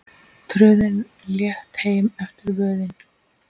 Tröðin létt heim eftir vöðin.